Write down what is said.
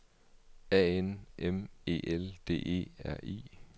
A N M E L D E R I